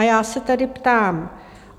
A já se tedy ptám: